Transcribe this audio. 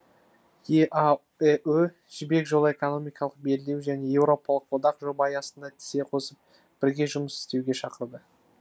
еаэо жібек жолы экономикалық белдеуі және еуропалық одақ жоба аясында тізе қосып бірге жұмыс істеуге шақырды